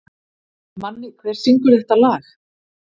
Manni, hver syngur þetta lag?